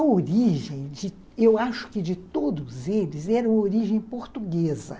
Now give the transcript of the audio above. A origem, eu acho que de todos eles, era a origem portuguesa.